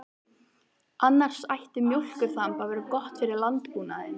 Annars ætti mjólkurþamb að vera gott fyrir landbúnaðinn.